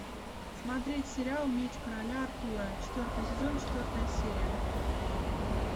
смотреть сериал меч короля артура четвертый сезон четвертая серия